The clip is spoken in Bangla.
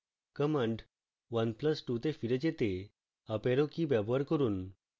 command 1 plus 2 তে ফিরে যেতে up arrow key ব্যবহার করুন